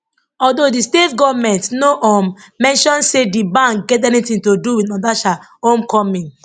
although di state goment no um mention say di ban get anytin to do wit natasha homecoming